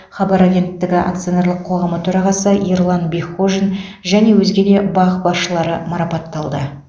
хабар агенттігі акционерлік қоғамы төрағасы ерлан бекхожин және өзге де бақ басшылары марапатталды